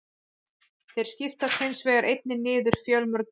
Þeir skiptast hins vegar einnig niður fjölmörg kyn.